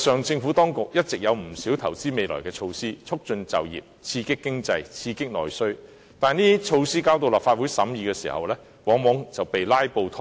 政府當局一直有不少投資未來的措施，促進就業，刺激經濟及內需，但這些措施交到立法會審議時，往往卻被"拉布"拖延。